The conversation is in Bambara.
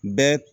Bɛɛ